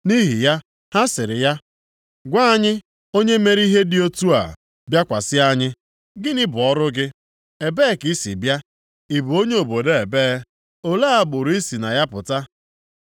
Nʼihi ya, ha sịrị ya, “Gwa anyị, onye mere ka ihe dị otu a bịakwasị anyị. Gịnị bụ ọrụ gị? Ebee ka i si bịa? Ị bụ onye obodo ebee? Ole agbụrụ i si na ya pụta?”